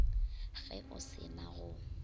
ge o se na go